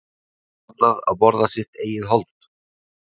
er bannað að borða sitt eigið hold